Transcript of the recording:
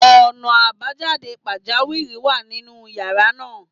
Ọ̀nà àbájáde pàjáwìrì wà nínú yàrá náà.